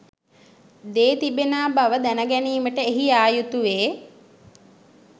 දේ තිබෙනා බව දැනගැනීමට එහි යායුතුවේ.